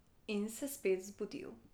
In se spet zbudil.